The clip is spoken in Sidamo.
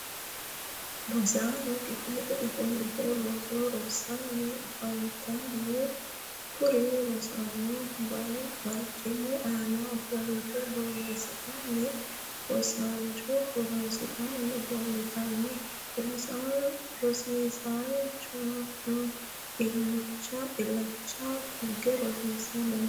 rosaano kifilete ofolite roso rossanni afantanno. kuri rosaano barcimu aana ofolite borresitannina rosiisaancho harunsitanni afantanno. rosinsa aana ilacha tugge rosanni no.